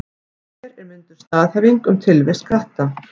Hér er mynduð staðhæfing um tilvist katta.